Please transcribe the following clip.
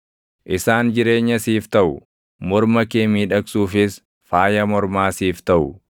isaan jireenya siif taʼu; morma kee miidhagsuufis faaya mormaa siif taʼu.